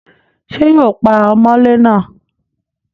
ṣé yóò pa ọmọlé náà?